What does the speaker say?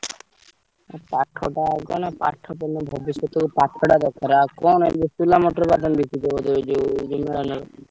ଆଉ ପାଠଟା କଣ ପାଠ ପଢିଲେ ଭବିଷ୍ୟତରେ ପାଠଟା ଦରକାର। ଆଉ କଣ ଏବେ ମଟର, ବାଦାମ ବିକୁଚ ବୋଧେ ଯୋଉ